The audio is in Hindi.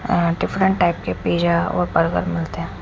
डिफरेंट टाइप के पिज़्ज़ा और बर्गर मिलते है।